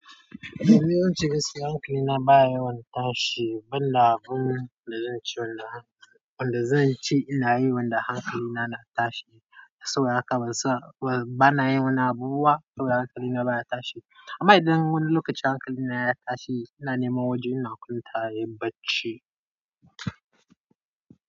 Toni, zance gaskiya hankali na baya yawan tashi, ban da abun da zan ce wanda zan ce ina yi wanda hankali na na tashi. Saboda haka bana yin wani abubuwa saboda hankali na baya tashi. Amma idan wani lokaci hankali na ya tashi, ina nema wajen ina kwantawa nayi bacci.